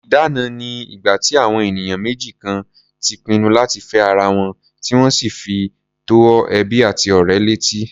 Ìdána ni ìgbà tí àwọn ènìyàn méjì kan ti pinnu láti fẹ́ ara wọn, tí wọ́n sì fi tó ẹbí àti ọ̀rẹ́ létí.